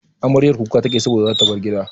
Amaryar kuka take saboda zata bar gida.